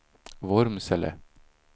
Vormsele